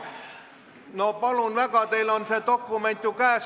No palun väga, teil on see dokument ju käes!